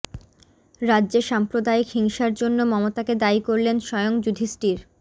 রাজ্যে সাম্প্রদায়িক হিংসার জন্য মমতাকে দায়ী করলেন স্বয়ং যুধিষ্ঠির